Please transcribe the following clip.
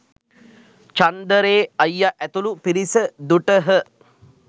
චන්දරේ අයියා ඇතුළු පිරිස දුටහ